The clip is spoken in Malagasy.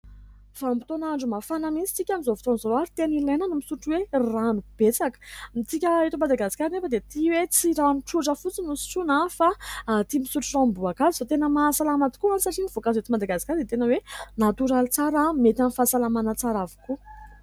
Vanimpotoana andro mafana mihintsy isika amin'izao fotoana izao, ary tena ilaina ny misotro hoe rano betsaka ; isika eto Madagasikara anefa dia tia hoe tsy rano tsotra fotsiny no sotroana, fa tia misotro ranomboakazo ; izay tena mahasalama tokoa any satria ny voakazo eto Madagasikary dia tena hoe natoraly tsara, mety amin'ny fahasalamana tsara avokoa.